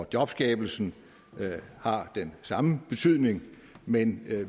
jobskabelsen har den samme betydning men